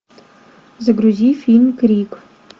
загрузи фильм крик